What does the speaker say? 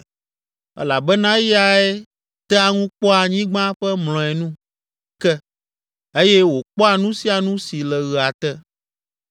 Elabena eyae tea ŋu kpɔa anyigba ƒe mlɔenu ke, eye wòkpɔa nu sia nu si le ɣea te.